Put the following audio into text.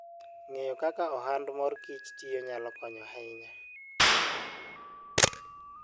Ng'eyo kaka ohand mor kich tiyo nyalo konyo ahinya.